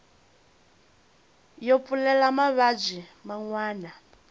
yo pfulela mavabyi man wana